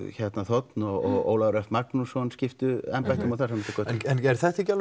þ og Ólafur Örn Magnússon skiptu embættum og þar fram eftir götunum en er þetta ekki alveg